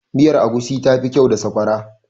miyar agushi tafi kyau da sakwara